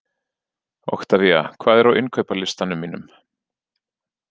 Oktavía, hvað er á innkaupalistanum mínum?